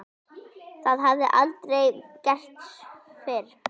Það hafði hann aldrei gert fyrr.